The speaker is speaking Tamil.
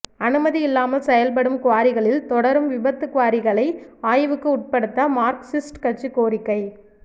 அனுமதி இல்லாமல் செயல்படும் குவாரிகளில் தொடரும் விபத்து குவாரிகளை ஆய்வுக்கு உட்படுத்த மார்க்சிஸ்ட் கட்சி கோரிக்கை